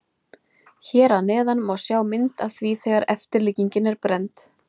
Hér að neðan má sjá mynd af því þegar eftirlíkingin er brennd.